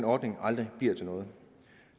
ordningen aldrig bliver til noget